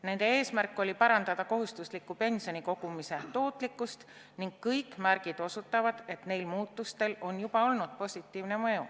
Nende eesmärk oli parandada kohustusliku pensionikogumise tootlikkust ning kõik märgid osutavad, et neil muudatustel on juba olnud positiivne mõju.